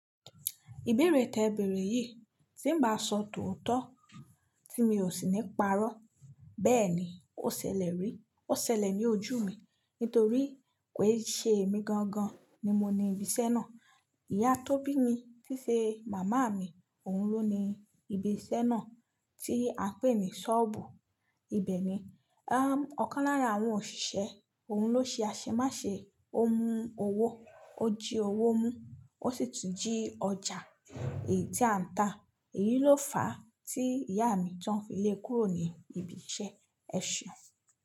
Ìbéèrè tẹ̀bẹ̀rẹ̀ yìí tí ń bá sọ tòótọ́ tí mi ò sì ní párọ́. Bẹ́ẹ̀ ni, ó ṣẹlẹ̀ rí. Ó ṣẹlẹ̀ ní ojú mi nítorí pé ṣé èmi gangan ni mo ni ibi iṣẹ́ náà? Ìyá tóbi mi tíṣe màmá mi, òun ló ni ibi iṣẹ́ náà tí a ń pè ní ṣọ́ọ̀bù. Ibẹ̀ níbi, ọ̀kan lára àwọn òṣìṣẹ́, òun ló ṣe aṣemáṣe, ó mú owó, ó jí owó mú, ó sì tún jí ọjà èyí tí à ń ta. Èyí ló fà á tí ìyá mi tí wọ́n fi lé kúrò ní ibi iṣẹ́. Ẹ ṣeun.